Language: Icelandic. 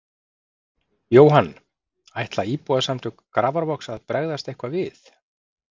Jóhann: Ætla Íbúasamtök Grafarvogs að bregðast eitthvað við?